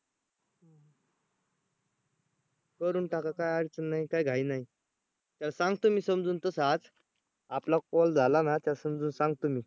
करून टाका काय अडचण नाही काय घाई नाही. त्याला सांगतो मी समजून तसं आज आपला call झाला ना त्याला समजून सांगतो मी